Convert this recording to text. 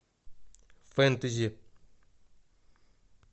фэнтези